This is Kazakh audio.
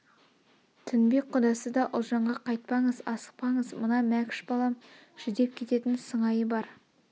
тінбек құдасы да ұлжанға қайтпаңыз асықпаңыз мына мәкш балам жүдеп кететін сыңайы бар